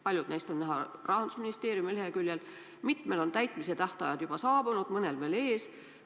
Paljud neist on näha Rahandusministeeriumi leheküljel, mitmel on täitmise tähtajad juba saabunud, mõnel veel ees.